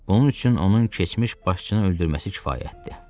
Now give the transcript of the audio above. Onun üçün onun keçmiş başçını öldürməsi kifayətdir.